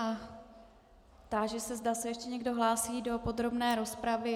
A táži se, zda se ještě někdo hlásí do podrobné rozpravy.